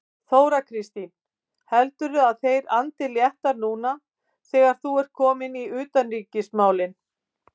Þóra Kristín: Heldurðu að þeir andi léttara núna þegar þú ert kominn í utanríkismálin?